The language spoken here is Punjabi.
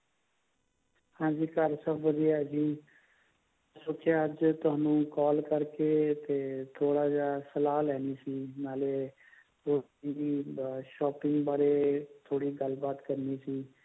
ਹਾਂਜੀ ਘਰ ਸਬ ਵਧੀਆਂ ਹੈ ਜੀ ਮੈਂ ਸੋਚਿਆ ਅੱਜ ਤੁਹਾਨੂੰ call ਕਰਕੇ ਥੋੜਾ ਜਾ ਸਲਾਹ ਲੈਣੀ ਸੀ ਨਾਲੇ shopping ਬਾਰੇ shopping ਬਾਰੇ ਥੋੜੀ ਗੱਲਬਾਤ ਕਰਨੀ ਸੀ